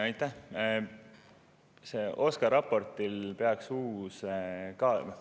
Aitäh!